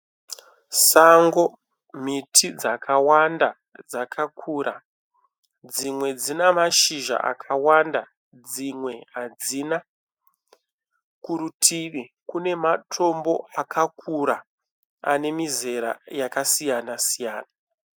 Sango miti dzakawanda dzakakura. Dzimwe dzinemashizha akawanda dzimwe hadzina. Kurutivi kune matombo akakura anemizera yakasiyana siyana.